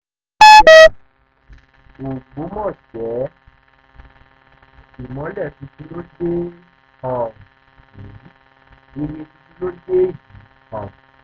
ọ̀pọ̀ èèyàn ló mọ àwọn ohun tó ti ń ṣẹlẹ̀ ṣùgbọ́n a ti gbé ìyẹn tì sẹ́gbẹ̀ẹ́ kan